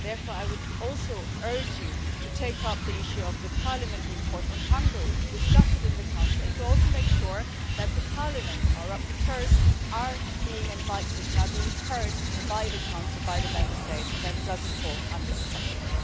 Therefore, I would also urge you to take up the issue of the parliamentary report on Hungary, to discuss it in the Council and to also make sure that Parliament, our rapporteurs, are being invited and are being heard by the Council, by the Member States, and that it doesn't fall under the carpet.